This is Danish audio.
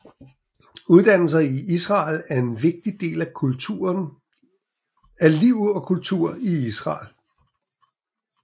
Uddannelse i Israel er en vigtig del af liv og kultur i Israel